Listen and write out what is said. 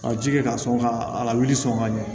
Ka ji kɛ ka sɔn ka a lawuli sɔn ka ɲɛ